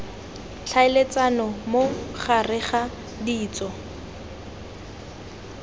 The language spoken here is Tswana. tlhaeletsano mo gareg ga ditso